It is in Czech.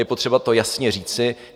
Je potřeba to jasně říci.